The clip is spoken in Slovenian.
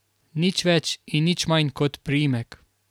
Nič več in nič manj kot priimek.